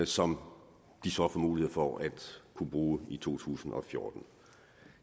som de så får mulighed for at kunne bruge i to tusind og fjorten